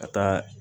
Ka taa